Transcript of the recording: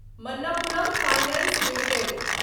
Manappuram finance limited